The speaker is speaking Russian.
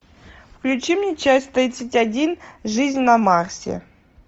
включи мне часть тридцать один жизнь на марсе